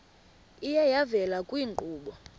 iye yavela kwiinkqubo